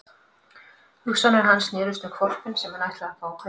Hugsanir hans snerust um hvolpinn sem hann ætlaði að fá að kaupa.